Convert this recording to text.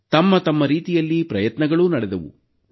ತಮ್ಮತಮ್ಮ ರೀತಿಯಲ್ಲಿ ಪ್ರಯತ್ನಗಳೂ ನಡೆದವು